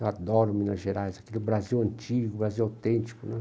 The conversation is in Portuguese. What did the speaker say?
Eu adoro Minas Gerais, aquele Brasil antigo, Brasil autêntico, né?